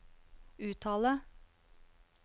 uttale